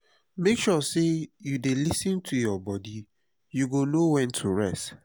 make sure sey you dey lis ten to your bodi you go know wen to rest.